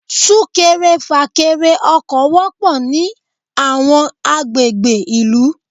Súkẹrẹ fàkẹrẹ ọkọ̀ wọpọ̀ ní àwọn àgbègbè ìlú.